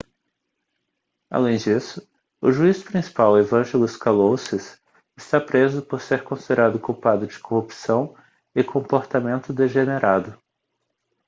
além disso o juiz principal evangelos kalousis está preso por ser considerado culpado de corrupção e comportamento degenerado